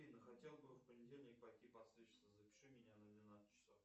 афина хотел бы в понедельник пойти подстричься запиши меня на двенадцать часов